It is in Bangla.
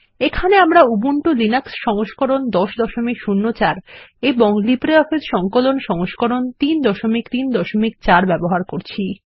এখানে আমরা উবুন্টু লিনাক্স সংস্করণ 1004 এবং লিব্রিঅফিস সংকলন সংস্করণ 334 ব্যবহার করি